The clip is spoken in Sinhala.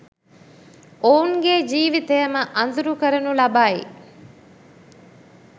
ඔවුන්ගේ ජීවිතයම අදුරු කරනු ලබයි